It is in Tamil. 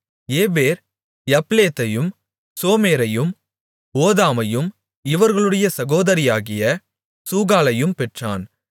ஏபேர் யப்லேத்தையும் சோமேரையும் ஓதாமையும் இவர்களுடைய சகோதரியாகிய சூகாளையும் பெற்றான்